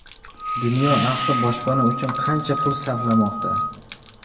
Dunyo ahli boshpana uchun qancha pul sarflamoqda?